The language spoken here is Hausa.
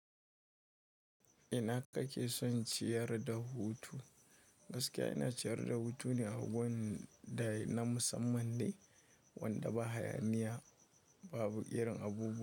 Ina kake son ciyar da hutu? Gaskiya ina ciyar da hutu ne a wurin da na musamman ne wanda ba hayaniya, babu irin abu.